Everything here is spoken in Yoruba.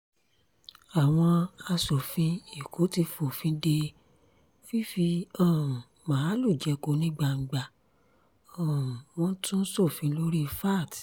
àwọn aṣòfin èkó ti fòfin de fífi um màálùú jẹko ní gbangba um wọ́n tún sọfin lórí vat